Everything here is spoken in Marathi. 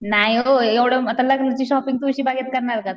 नाय वो एव्हडं थोडी आता लग्नाची शॉपिंग तुळशी बागेत करणार का?